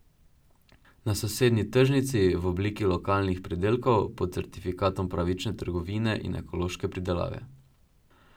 Na sosednji tržnici, v obliki lokalnih pridelkov, pod certifikatom pravične trgovine in ekološke pridelave.